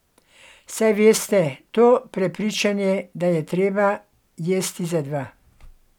Saj veste, to prepričanje, da je treba jesti za dva.